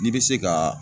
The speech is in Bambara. N'i bɛ se ka